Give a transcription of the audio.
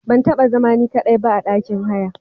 Ban taba zama ni ka daiba a ɗakin haya.